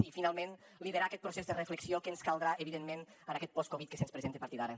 i finalment liderar aquest procés de reflexió que ens caldrà evidentment en aquest post covid que se’ns presenta a partir d’ara